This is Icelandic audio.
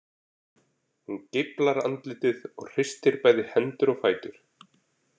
Hún geiflar andlitið og hristir bæði hendur og fætur.